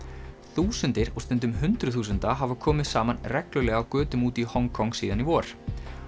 þúsundir og stundum hundruð þúsunda hafa komið saman reglulega á götum úti í Hong Kong síðan í vor